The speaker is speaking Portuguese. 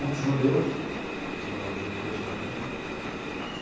Muitos judeus, é um bairro de judeus também, né.